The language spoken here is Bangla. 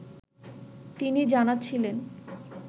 তিনি জানাচ্ছিলেন